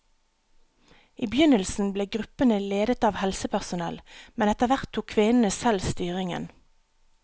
I begynnelsen ble gruppene ledet av helsepersonell, men etterhvert tok kvinnene selv styringen.